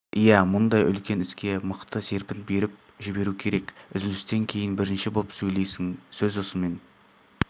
иә мұндай үлкен іске мықты серпін беріп жіберу керек үзілістен кейін бірінші боп сөйлейсің сөз осымен